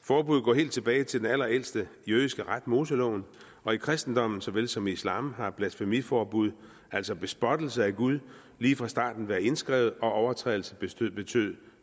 forbuddet går helt tilbage til den allerældste jødiske ret moseloven og i kristendommen såvel som i islam har et blasfemiforbud altså bespottelse af gud lige fra starten været indskrevet og overtrædelse betød betød